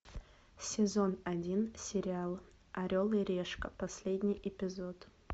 сезон один сериал орел и решка последний эпизод